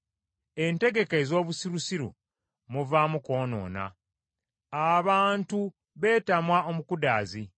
Entegeka ez’obusirusiru muvaamu kwonoona, abantu beetamwa omukudaazi.